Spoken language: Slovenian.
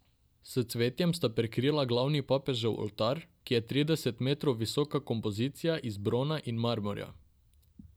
S cvetjem sta prekrila glavni papežev oltar, ki je trideset metrov visoka kompozicija iz brona in marmorja.